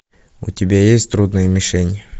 у тебя есть трудная мишень